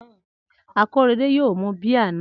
Akorede yóò mu bíà náà